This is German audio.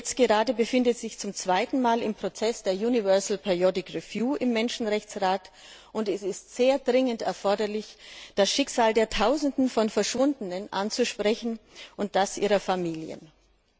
Jetzt gerade befindet es sich zum zweiten Mal im Prozess der Universal Periodic Review im Menschenrechtsrat, und es ist sehr dringend erforderlich, das Schicksal der Tausenden von Verschwundenen und das ihrer Familien anzusprechen.